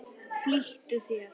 Flýttu þér.